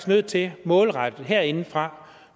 nødt til målrettet herindefra